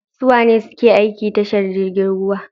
Suwane suke aiki a tashar jirgin ruwa?